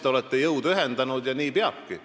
Te olete jõud ühendanud ja nii peabki.